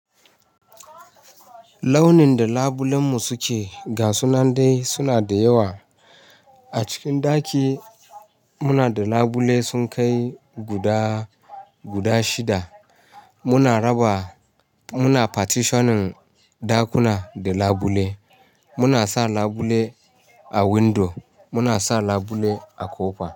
Launin da labulen mu suke, gasu nan dai suna da yawa. A cikin ɗaki muna da labule sun kai guda, guda shida. Muna raba, muna partitioning ɗakuna da labule. Muna sa labule a window, muna sa labule a ƙofa.